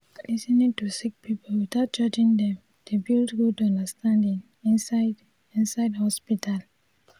lis ten ing to sick pipul witout judging dem dey build good understanding inside inside hosptital